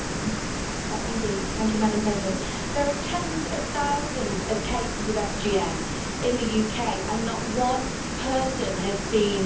Madam President, there are tens of thousands of cases of FGM in the UK and not one person has been brought to justice.